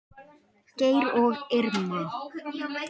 Geir og Irma.